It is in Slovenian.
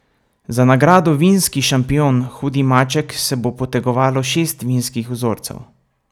Za nagrado vinski šampion hudi maček se bo potegovalo šest vinskih vzorcev.